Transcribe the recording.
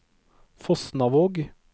Fosnavåg